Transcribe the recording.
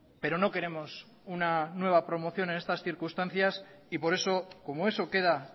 pero no queremos una nueva promoción en estas circunstancias y por eso como eso queda